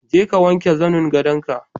Je ka wanke zannin gadonka.